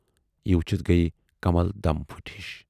یہِ وُچھِتھ گٔیہِ کمل دم پھٔٹۍ ہِش۔